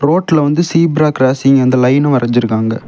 ரோட்ல வந்து zebra crossing அந்த லைன்னு வரஞ்சிருக்காங்க.